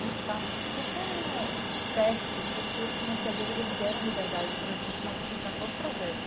um espaço super fértil porque os financiadores eles deram a liberdade para a gente modificar todo o projeto.